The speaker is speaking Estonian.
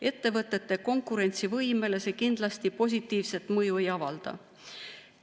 Ettevõtete konkurentsivõimele see kindlasti positiivset mõju ei avalda.